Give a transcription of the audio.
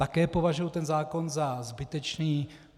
Také považuji tento zákon za zbytečný.